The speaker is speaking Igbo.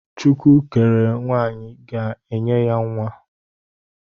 Chukwu kere nwaanyị ga-enye ya nwa.